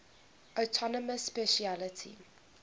autonomous specialty